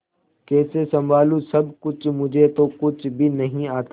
कैसे संभालू सब कुछ मुझे तो कुछ भी नहीं आता